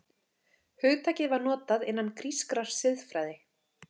Hugtakið var notað innan grískrar siðfræði.